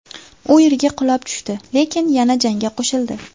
U yerga qulab tushdi, lekin yana jangga qo‘shildi.